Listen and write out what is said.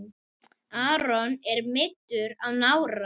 Aron er meiddur á nára.